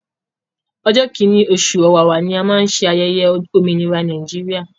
Ọjọ́ kíní oṣù ọ̀wàwà ni a má ń ṣayẹyẹ òmìnira Nàìjíríà.